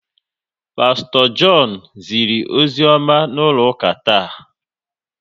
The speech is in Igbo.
Pasto John ziri ozioma n'ụlọ ụka taa